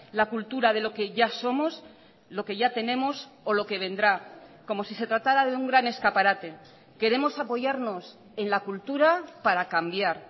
la cultura de lo que ya somos lo que ya tenemos o lo que vendrá como si se tratara de un gran escaparate queremos apoyarnos en la cultura para cambiar